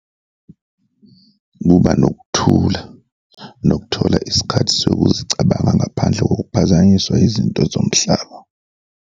Kuba nokuthula nokuthola isikhathi sokuzicabanga ngaphandle kokuphazanyiswa izinto zomhlaba.